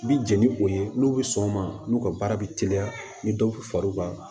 Bi jeni ni o ye n'u bɛ sɔn ma n'u ka baara bɛ teliya ni dɔw bɛ far'u kan